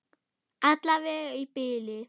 Alla vega í bili.